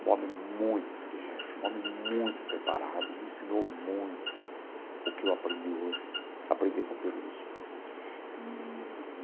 Um homem muito inteligente, um homem muito preparado, me ensinou muito o que eu aprendi hoje, aprendi com Peluso. Eee.